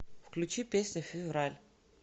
включи песня февраль